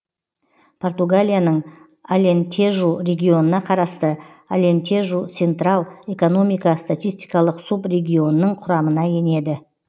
португалияның алентежу регионына қарасты алентежу сентрал экономика статистикалық субрегионының құрамына енеді